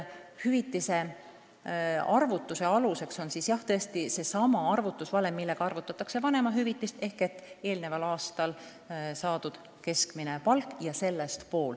Hüvitise arvutamise aluseks on tõesti seesama valem, mille järgi arvutatakse vanemahüvitist: pool puhkepäevadele eelnenud aastal saadud keskmisest palgast.